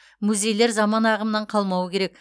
музейлер заман ағымнан қалмауы керек